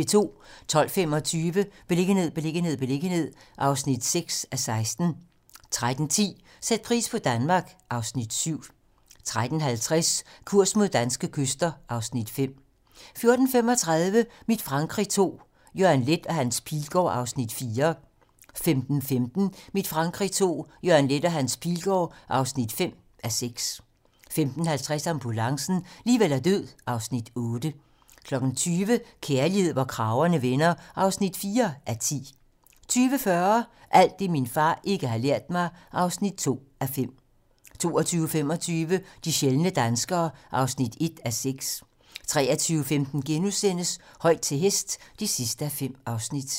12:25: Beliggenhed, beliggenhed, beliggenhed (6:16) 13:10: Sæt pris på Danmark (Afs. 7) 13:50: Kurs mod danske kyster (Afs. 5) 14:35: Mit Frankrig II - Jørgen Leth og Hans Pilgaard (4:6) 15:15: Mit Frankrig II - Jørgen Leth og Hans Pilgaard (5:6) 15:50: Ambulancen - liv eller død (Afs. 8) 20:00: Kærlighed, hvor kragerne vender (4:10) 20:40: Alt det, min far ikke har lært mig (2:5) 22:25: De sjældne danskere (1:6) 23:15: Højt til hest (5:5)*